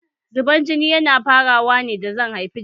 Zubar jini yana farawa ne da zan an haifi jariri